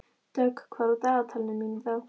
Dögg, hvað er á dagatalinu mínu í dag?